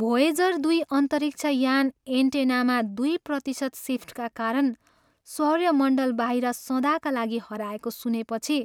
Voyager दुई अन्तरिक्ष यान एन्टेनामा दुई प्रतिशत सिफ्टका कारण सौर्यमण्डलबाहिर सदाका लागि हराएको सुनेपछि